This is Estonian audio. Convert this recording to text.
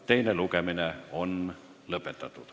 Teine lugemine on lõppenud.